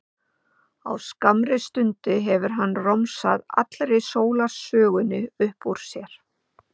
Á skammri stundu hefur hann romsað allri sólarsögunni upp úr sér.